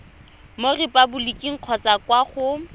mo repaboliking kgotsa kwa go